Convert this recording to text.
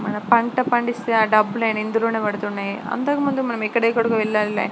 మన పంట పండితే డబ్బులు ఇందులో పడుతున్నాయి. ఇంతకుముందు ఎక్కడెక్కడికో --